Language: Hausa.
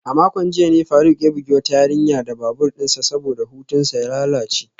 A makon jiya ne faruk ya bugi wata yarinya da babur dinsa saboda hutunsa ya lalace.